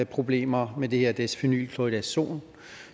problemer med det her desphenyl chloridazon